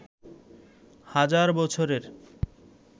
হাজার বছরের